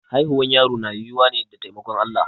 Haihuwar yaro na yiwuwa ne da taimakon Allah.